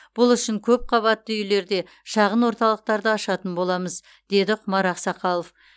бұл үшін көпқабатты үйлерде шағын орталықтарды ашатын боламыз деді құмар ақсақалов